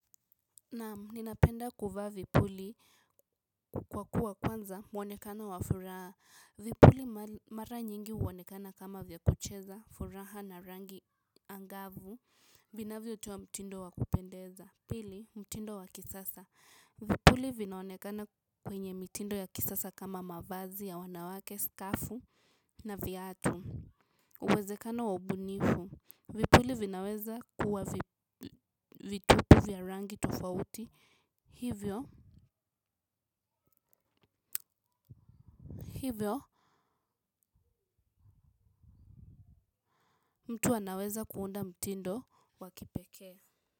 Naam ninapenda kuvaa vipuli kwa kuwa kwanza mwonekano wa furaha. Vipuli mara nyingi huonekana kama vya kucheza furaha na rangi angavu. Vinavyo toa mtindo wa kupendeza. Pili, mtindo wa kisasa. Vipuli vinaonekana kwenye mitindo ya kisasa kama mavazi ya wanawake, skafu na viatu. Uwezekano wa ubunifu. Vipuli vinaweza kuwa vitupi vya rangi tofauti hivyo hivyo mtu anaweza kuunda mtindo wakipekee.